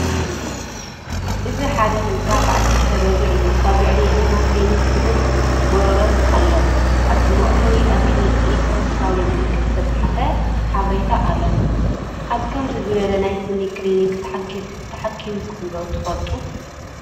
እዚ ሓደ ህንጻ በዓል ክልተ ደብሪ እዩ። ኣብ ልዕሊኡ ድማ ክሊኒክ ስኒን ጎሮሮን ኣሎ። ኣብ መእተዊ ኣብ ኤሌክትሮኒካዊ ምልክት ዝተጻሕፈ ሓበሬታ ኣሎ። ኣብ ከምዚ ዝበለ ናይ ስኒ ክሊኒክ ተሓኪምኩም ዶ ትፈልጡ?